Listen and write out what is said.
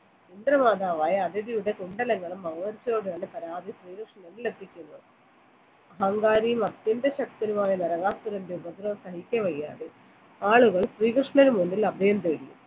അസുര രാജാവായ അതിഥിയുടെ ശ്രീകൃഷ്ണനെ എത്തിക്കുന്നു അഹങ്കാരിയും അത്യന്തശക്തനുമായ നരകാസുരന്റെ ഉപദ്രവം സഹിക്കാ വയ്യാതെ ആളുകൾ ശ്രീ കൃഷ്ണനും മുമ്പിൽ അഭയം തേടി